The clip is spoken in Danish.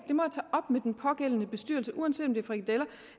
op med den pågældende bestyrelse uanset om det er frikadeller